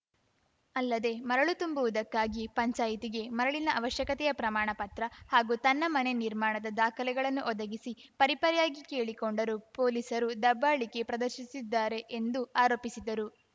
ಅಲ್ಲದೆ ಮರಳು ತುಂಬುವುದಕ್ಕಾಗಿ ಪಂಚಾಯಿತಿಗೆ ಮರಳಿನ ಅವಶ್ಯಕತೆಯ ಪ್ರಮಾಣ ಪತ್ರ ಹಾಗೂ ತನ್ನ ಮನೆ ನಿರ್ಮಾಣದ ದಾಖಲೆಗಳನ್ನು ಒದಗಿಸಿ ಪರಿಪರಿಯಾಗಿ ಕೇಳಿಕೊಂಡರೂ ಪೊಲೀಸರು ದಬ್ಬಾಳಿಕೆ ಪ್ರದರ್ಶಿಸಿದ್ದಾರೆ ಎಂದು ಆರೋಪಿಸಿದರು